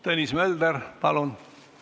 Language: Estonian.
Tõnis Mölder, palun!